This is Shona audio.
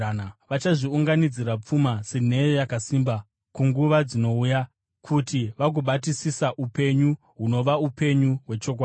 Vachazviunganidzira pfuma senheyo yakasimba kunguva dzinouya, kuti vagobatisisa upenyu hunova upenyu kwechokwadi.